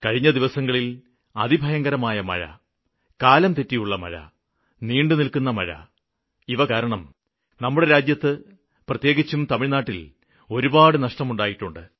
കഴിഞ്ഞ ദിവസങ്ങളില് അതിഭയങ്കരമായ മഴ കാലംതെറ്റിയുള്ള മഴ നീണ്ടുനില്ക്കുന്ന മഴ ഇവ കാരണം നമ്മുടെ രാജ്യത്ത് പ്രത്യേകിച്ചും തമിഴ്നാട്ടില് ഒരുപാടു നഷ്ടം ഉണ്ടായിട്ടുണ്ട്